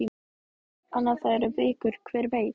En ef það eru vikur, hver veit?